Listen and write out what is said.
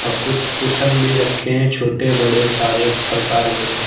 अ कुछ कुशन्स भी रखे हैं छोटे बड़े सारे प्रकार के--